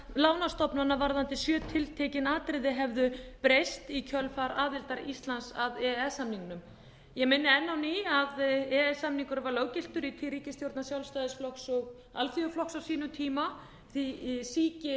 lánastofnana varðandi sjö tiltekin atriði hefðu breyst í kjölfar aðildar íslands að e e s samningnum ég minni enn á ný á að e e s samningurinn var löggiltur í tíð ríkisstjórnar sjálfstæðisflokks og alþýðuflokks á sínum tíma því ekki